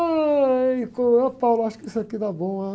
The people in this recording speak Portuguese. Ai, ôh, acho que isso aqui dá bom.